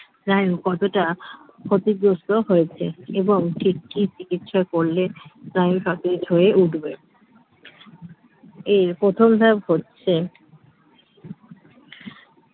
স্নায়ু কতটা ক্ষতিগ্রস্ত হয়েছে এবং ঠিক ঠিক ইচ্ছা করলে স্নায়ু সতেজ হয়ে উঠবে এর প্রথম ধাপ হচ্ছে